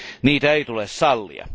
Niitä ei tule sallia.